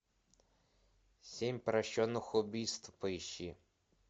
семь прощенных убийств поищи